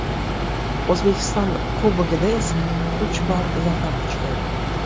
O‘zbekiston Kubogida esa uch bor zafar quchgan.